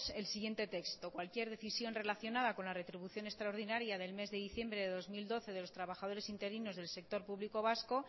el siguiente texto cualquier decisión relacionada con la retribución extraordinaria del mes de diciembre de dos mil doce de los trabajadores interinos del sector público vasco